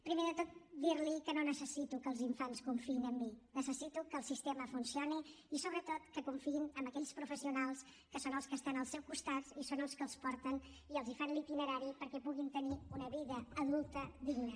primer de tot dir li que no necessito que els infants confiïn en mi necessito que el sistema funcioni i sobretot que confiïn en aquells professionals que són els que estan al seu costat i són els que els porten i els fan l’itinerari perquè puguin tenir una vida adulta digna